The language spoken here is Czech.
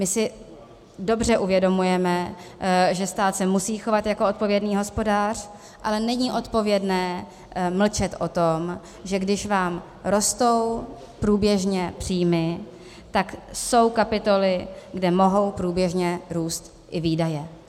My si dobře uvědomujeme, že stát se musí chovat jako odpovědný hospodář, ale není odpovědné mlčet o tom, že když vám rostou průběžně příjmy, tak jsou kapitoly, kde mohou průběžně růst i výdaje.